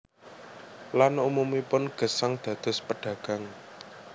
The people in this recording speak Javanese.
Lan umumipun gesang dados pedagang